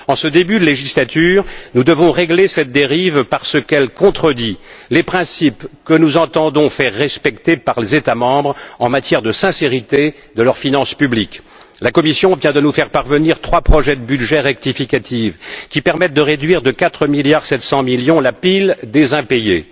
En ce début de législature nous devons régler cette dérive parce qu'elle contredit les principes que nous entendons faire respecter par les États membres en matière de sincérité de leurs finances publiques. La Commission vient de nous faire parvenir trois projets de budget rectificatif qui permettent de réduire de 4,7 milliards la pile des impayés.